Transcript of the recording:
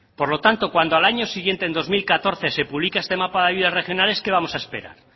por lo tanto cuando al año siguiente en dos mil catorce se publica este mapa de ayudas regionales qué vamos a esperar